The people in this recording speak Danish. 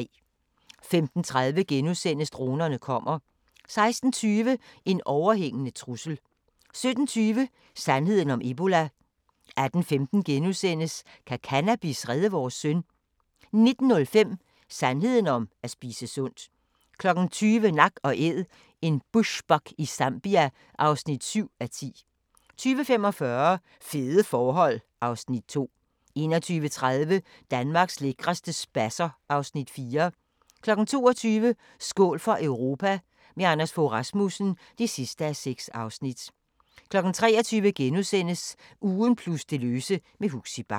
15:30: Dronerne kommer * 16:20: En overhængende trussel 17:20: Sandheden om ebola 18:15: Kan cannabis redde vores søn? * 19:05: Sandheden om at spise sundt 20:00: Nak & Æd – en bushbuck i Zambia (7:10) 20:45: Fede forhold (Afs. 2) 21:30: Danmarks lækreste spasser (Afs. 4) 22:00: Skål for Europa – med Anders Fogh Rasmussen (6:6) 23:00: Ugen plus det løse med Huxi Bach *